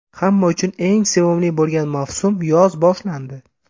Hamma uchun eng sevimli bo‘lgan mavsum yoz boshlandi.